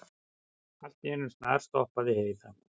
Allt í einu snarstoppaði Heiða.